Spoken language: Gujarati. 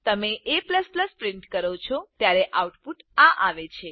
તમે a પ્રિન્ટ કરો છો ત્યારે આઉટપુટ આ આવે છે